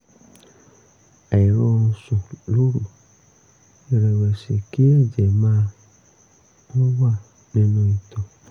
àìrórun sùn lóru ìrẹ̀wẹ̀sì kí ẹ̀jẹ̀ máa ń wà nínú ìtọ̀